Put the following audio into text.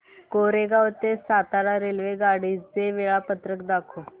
कोरेगाव ते सातारा रेल्वेगाडी चे वेळापत्रक दाखव